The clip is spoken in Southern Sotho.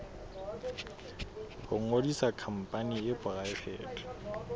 ho ngodisa khampani e poraefete